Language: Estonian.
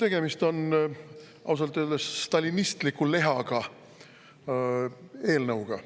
Tegemist on ausalt öeldes stalinistliku lehaga eelnõuga.